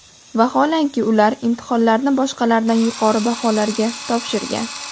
Vaholanki, ular imtihonlarni boshqalardan yuqori baholarga topshirgan.